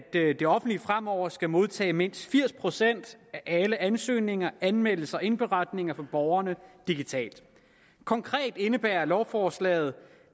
det offentlige fremover skal modtage mindst firs procent af alle ansøgninger anmeldelser og indberetninger fra borgerne digitalt konkret indebærer lovforslaget